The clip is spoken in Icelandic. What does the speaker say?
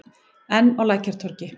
Enn á Lækjartorgi.